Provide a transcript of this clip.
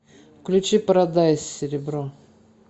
включи парадайс серебро